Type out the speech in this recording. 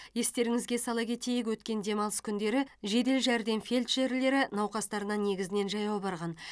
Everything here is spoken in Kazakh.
естеріңізге сала кетейік өткен демалыс күндері жедел жәрдем фельдшерлері науқастарына негізінен жаяу барған